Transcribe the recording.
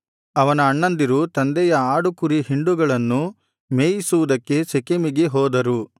ಅವನ ಅಣ್ಣಂದಿರು ತಂದೆಯ ಆಡುಕುರಿ ಹಿಂಡುಗಳನ್ನು ಮೇಯಿಸುವುದಕ್ಕೆ ಶೆಕೆಮಿಗೆ ಹೋದರು